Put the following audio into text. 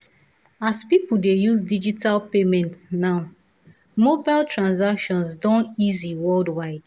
as people dey use digital payment payment now mobile transactions don easy worldwide.